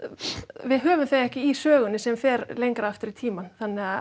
við höfum þau ekki í sögunni sem fer lengra aftur í tímann